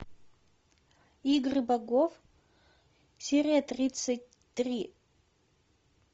игры богов серия тридцать три